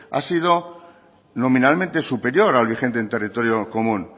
ha sido nominalmente superior al vigente en territorio común